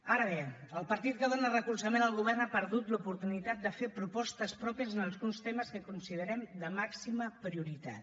ara bé el partit que dóna recolzament al govern ha perdut l’oportunitat de fer propostes pròpies en alguns temes que considerem de màxima prioritat